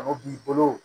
A bɛ k'i bolo